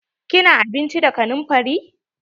Kina abinci da kanumfari?